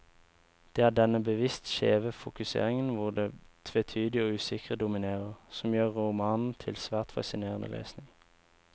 Det er denne bevisst skjeve fokuseringen, hvor det tvetydige og usikre dominerer, som gjør romanen til svært fascinerende lesning.